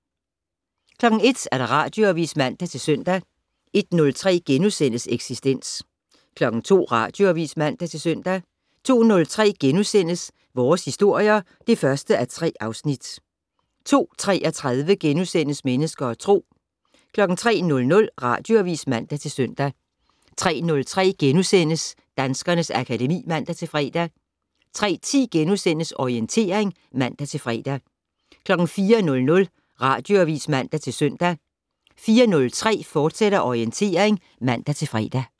01:00: Radioavis (man-søn) 01:03: Eksistens * 02:00: Radioavis (man-søn) 02:03: Vores historier (1:3)* 02:33: Mennesker og Tro * 03:00: Radioavis (man-søn) 03:03: Danskernes akademi *(man-fre) 03:10: Orientering *(man-fre) 04:00: Radioavis (man-søn) 04:03: Orientering, fortsat (man-fre)